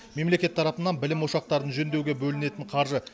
мемлекет тарапынан білім ошақтарын жөндеуге бөлінетін қаржы